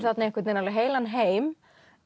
þarna einhvern veginn alveg heilan heim